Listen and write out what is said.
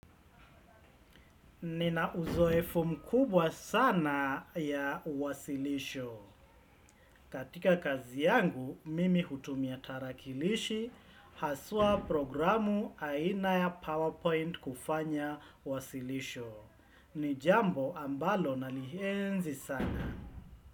Nina uzoefu mkubwa sana ya uwasilisho. Katika kazi yangu, mimi hutumia tarakilishi, hasua programu aina ya PowerPoint kufanya uwasilisho. Nijambo ambalo nalihenzi sana.